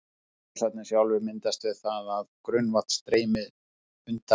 Hraunfossarnir sjálfir myndast við það að grunnvatn streymir undan hrauninu.